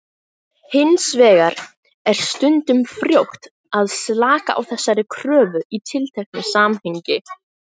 Hins vegar er stundum frjótt að slaka á þessari kröfu í tilteknu samhengi.